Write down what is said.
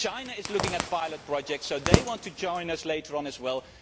China is looking at pilot projects, so they want to join us later on as well.